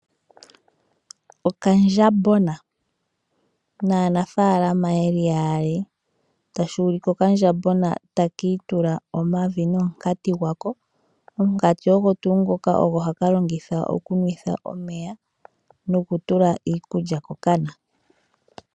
Oondjambagona naanafaalama yeli yaali. Okandjambona taka itula omavi nomunkati gwako. Omunkati ogo haka longitha oku nwa omeya noku tula iikulya ko kana.